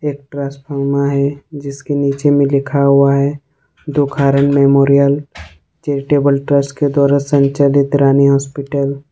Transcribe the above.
एक ट्रांसफार्मर है जिसके नीचे में लिखा हुआ है दुखहरण मेमोरियल चैरिटेबल ट्रस्ट के द्वारा संचालित रानी हॉस्पिटल ।